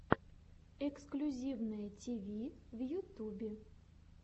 эксклюзивное тиви в ютюбе